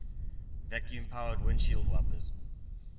vacuum powered windshield wipers